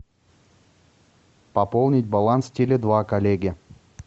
пополнить баланс теле два коллеге